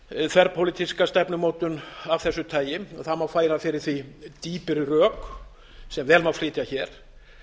þverpólitíska stefnumótun af þessu tagi það má færa fyrir því dýpri rök sem vel má flytja hér